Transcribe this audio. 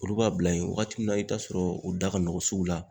Olu b'a bila yen wagati min na, i bi taa sɔrɔ u da ka nɔgɔn sugu la